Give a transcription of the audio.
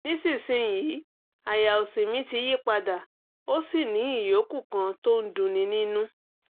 nísinsìnyí àyà òsì mi ti yí padà ó sì ní ìyókù kan tó ń dunni nínú